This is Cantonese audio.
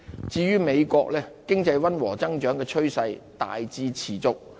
至於美國，經濟溫和增長的趨勢大致持續。